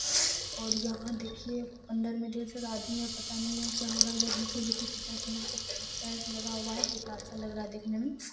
और यहाँ देखिये अंदर में ढ़ेर सारा आदमी है पता नहीं यहां क्या हो रहा है यहां नीचे देखिये कितना सुंदर टाइल्स लगा हुआ है कितना अच्छा लग रहा है देखने में--